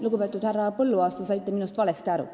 Lugupeetud härra Põlluaas, te saite minu arust valesti aru.